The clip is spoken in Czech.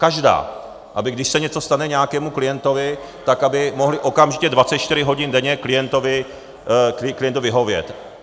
Každá, aby když se něco stane nějakému klientovi, tak aby mohli okamžitě 24 hodin denně klientovi vyhovět.